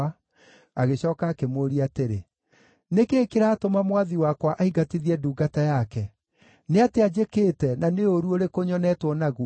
Agĩcooka akĩmũũria atĩrĩ, “Nĩ kĩĩ kĩratũma mwathi wakwa aingatithie ndungata yake? Nĩ atĩa njĩkĩte, na nĩ ũũru ũrĩkũ nyonetwo naguo?